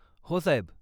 हो साहेब.